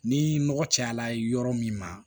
Ni nɔgɔ cayala yɔrɔ min ma